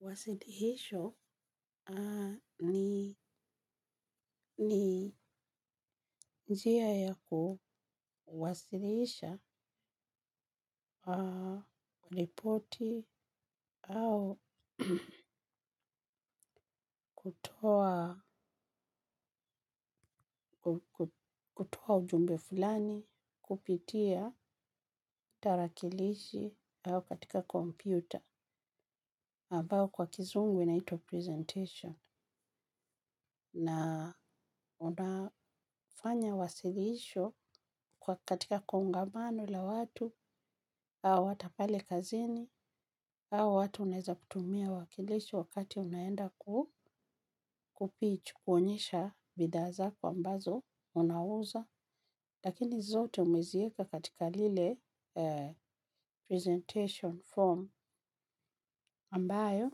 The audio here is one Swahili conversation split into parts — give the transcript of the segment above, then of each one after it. Wasilihisho ni njia ya kuwasilisha, ripoti au kutoa ujumbe fulani, kupitia, tarakilishi au katika kompyuta ambayo kwa kizungu inaitwa presentation na unafanya wasiliisho kwa katika kongamano la watu au hata pale kazini au watu unaweza kutumia wakilisho wakati unaenda ku kupichu kuonyesha bidhaa zako ambazo unauza. Lakini zote umeziweka katika lile presentation form ambayo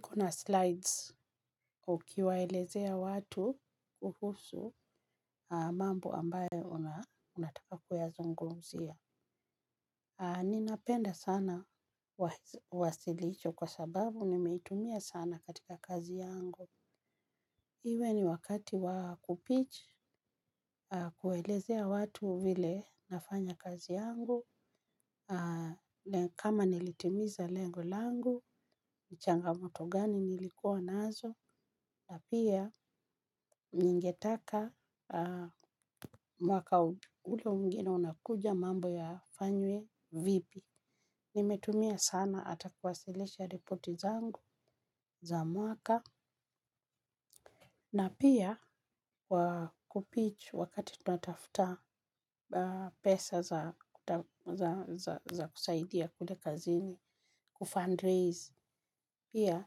kuna slides ukiwaelezea watu kuhusu mambo ambayo unataka kuyazungumzia. Ninapenda sana wasilisho kwa sababu nimeitumia sana katika kazi yangu. Iwe ni wakati wakupitch kuelezea watu vile nafanya kazi yangu. Na kama nilitimiza lengo langu, changamoto gani nilikuwa nazo. Na pia ningetaka mwaka ule mwingine unakuja mambo yafanywe vipi. Nimetumia sana hata kuwasilisha ripoti zangu za mwaka. Na pia kupitch wakati tunatafuta pesa za kusaidia kule kazini, kufundraise. Pia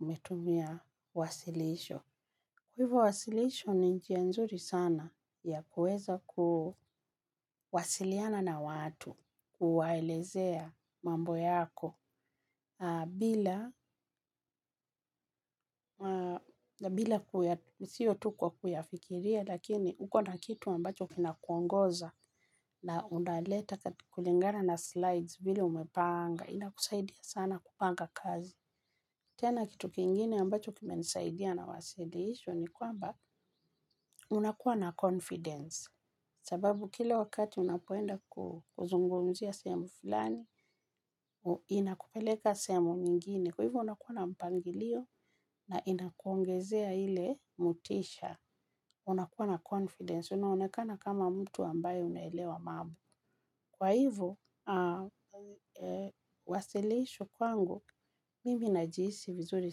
umetumia wasilisho. Kwa hivyo wasilisho ni njia nzuri sana ya kuweza kuwasiliana na watu, kuwaelezea mambo yako. Bila, na bila sio tu kwa kuyafikiria, lakini uko na kitu ambacho kina kuongoza na unaleta kulingana na slides vile umepanga, inakusaidia sana kupanga kazi. Tena kitu kingine ambacho kime nisaidia na wasilisho ni kwamba unakuwa na confidence. Sababu kila wakati unapoenda kuzungumzia sehemu fulani, inakupeleka sehemu nyingine. Kwa hivyo unakuwa na mpangilio na inakuongezea ile motisha. Unakuwa na confidence. Unaonekana kama mtu ambayo unaelewa mambo. Kwa hivyo, wasilisho kwangu, mimi najihisi vizuri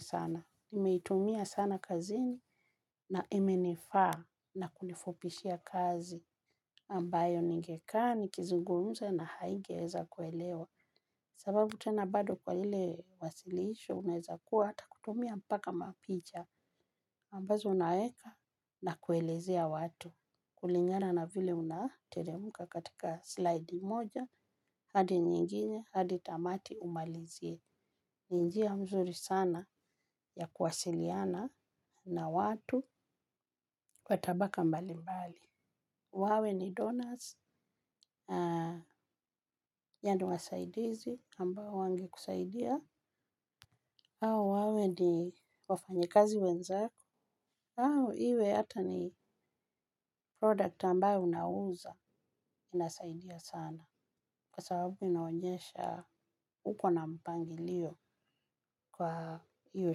sana. Nimeitumia sana kazini na imenifaa na kunifupishia kazi ambayo ningekaa nikizungumza na haingeweza kuelewa kwa sababu tena bado kwa ile wasilisho unaweza kuwa hata ukitumia mpaka mapicha, kwanza unaweka, na kuelezea watu, kulingana na vile unateremka katika slide moja ukiteremka, hadi nyingine hadi tamati umalizie. Ni njia mzuri sana ya kuwasiliana na watu kwa tabaka mbali mbali. Wawe ni donors na yaani wasaidizi ambao wangekusaidia. Au, wawe ni wafanyikazi wenzako. Au, iwe hata ni product ambayo unauza inasaidia sana. Kwa sababu inaonyesha huko na mpangilio kwa hiyo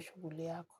shughuli yako.